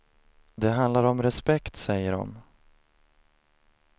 Det handlar om respekt, säger de.